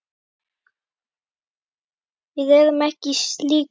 Við erum ekki í slíku.